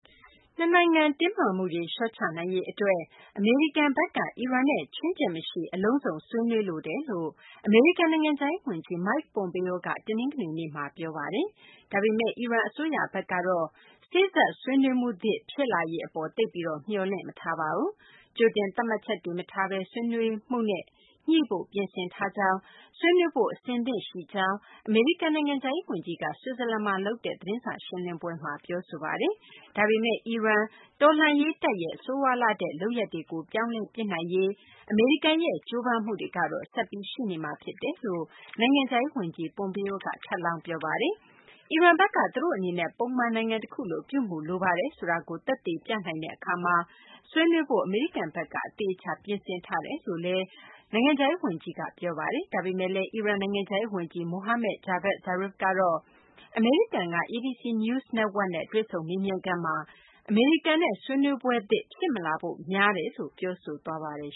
နှစ်နိုင်ငံ တင်းမာမှုတွေ လျှော့ချနိုင်ရေး အတွက် အမေရိကန်ဘက်က အီရန်နဲ့ ခြွင်းချက်မရှိ အလုံးစုံ ဆွေးနွေးလိုတယ်လို့ အမေရိကန် နိုင်ငံခြားရေး ဝန်ကြီး Mike Pompeo က တနင်္ဂနွေနေ့မှာ ပြောဆိုလိုက်ပါတယ်။ ဒါပေမယ့် အီရန် အစိုးရဘက်ကတော့ စေ့စပ်ဆွေးနွေးမှုသစ် ဖြစ်လာရေး အပေါ် သိပ်ပြီး မျှော်လင့်မထားပါဘူး။ ကြိုတင်သတ်မှတ်ချက်တွေ မထားဘဲ ဆွေးနွေးမှုနဲ့ ညှိဖို့ ပြင်ဆင်ထားကြောင်း၊ ဆွေးနွေးဖု့ိ အဆင်သင့်ရှိကြောင်း အမေရိကန် နိုင်ငံခြားရေး ဝန်ကြီးက ဆွစ်ဇာလန်မှာ လုပ်တဲ့ သတင်းစာရှင်းလင်းပွဲမှာ ပြောဆိုပါတယ်။ ဒါပေမယ့် အီရန် တော်လှန်ရေး တပ်ရဲ့ ဆိုးရွားလှတဲ့ လုပ်ရပ်တွေကို ပြောင်းလဲပစ်နိုင်ရေး အမေရိကန်ရဲ့ ကြိုးပမ်းမှုတွေကတော့ ဆက်ပြီး ရှိနေမှာ ဖြစ်တယ်လို့ အမေရိကန် နိုင်ငံခြားရေး ဝန်ကြီး Pompeo က ထပ်လောင်း ပြောပါတယ်။ အီရန်ဘက်က သူတို့ အနေနဲ့ ပုံမှန် နိုင်ငံတခုလို ပြုမူလိုပါတယ် ဆိုတာကို သက်သေပြနိုင်တဲ့ အခါမှာ ဆွေးနွေးဖို့ အမေရိကန်ဘက်က အသေအချာ ပြင်ဆင်ထားတယ်လို့လည်း ဝန်ကြီး Pompeo က ပြောပါတယ်။ ဒါပေမယ့်လည်း အီရန် နိုင်ငံခြားရေး ဝန်ကြီး Mohammad Javad Zarif ကတော့ အမေရိကန်က ABC News network နဲ့ တွေ့ဆုံမေးမြန်းခန်းမှာ အမေရိကန်နဲ့ ဆွေးနွေးပွဲသစ် ဖြစ်မလာဖို့ များတယ်လို့ ပြောဆိုသွားပါတယ်